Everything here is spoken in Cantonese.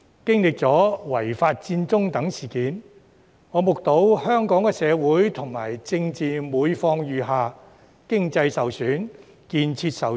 經歷了違法佔中等事件，我目睹香港的社會及政治狀況每況愈下，經濟受損丶建設受阻。